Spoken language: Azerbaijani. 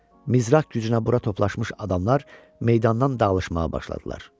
Mızraq gücünə bura toplaşmış adamlar meydandan dağılışmağa başladılar.